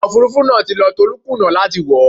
Ọkọ̀ Òfurufú náà ti lọ, Tolú kùnà láti wọ̀ ó.